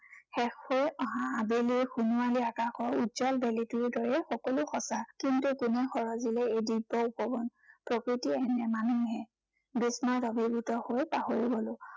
শেষ হৈ অহা আবেলিৰ সোণোৱালী আকাশৰ উজ্বল বেলিটিৰ দৰেই সকলো সঁচা। কিন্তু কোনে সৰজিলে এই দিব্য় উপবন। প্ৰকৃতিয়ে নে মানুহে। বিস্ময়ত অভিভূত হৈ পাহৰি গলো।